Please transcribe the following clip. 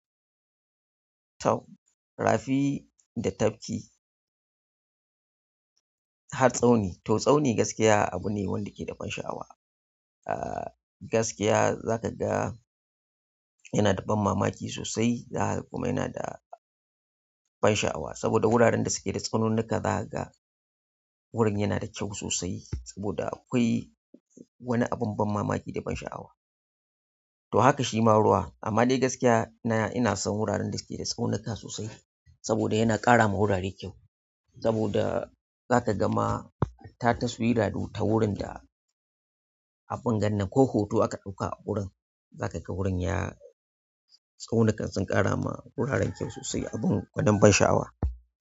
Tau, rafi da tafki har tsauni. To tsauni gaskiya abu ne wanda ke da ban sha'awa. Ah gaskiya za ka ga yana da ban mamaki sosai. Aha kuma yana da ban sha'awa saboda wuraren da suke da tsaununnuka za ka ga wurin yana da kyau sosai saboda akwai wani abin ban mamaki da ban sha'awa. To haka shi maruwa amma dai gaskiya ina, ina son wuraren da suke da tsaunuka sosai saboda yana ƙara ma wurare kyau. Saboda za ka gama hatt taswira ta wurin da abin gannan ko hoto aka ɗauka a wurin. Za ka ga wurin ya-- tsaunukan sun ƙara ma wuraren kyau sosai abun gwanin ban sha'awa.